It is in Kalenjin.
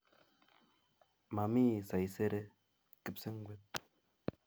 Mami saisere kipsengwet